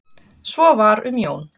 Svo var um Jón.